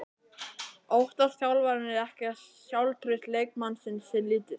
Óttast þjálfararnir ekki að sjálfstraust leikmannsins sé lítið?